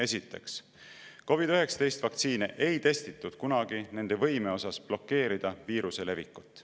Esiteks, COVID‑19 vaktsiine ei testitud kunagi nende võime osas blokeerida viiruse levikut.